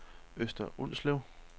Øster Ulslev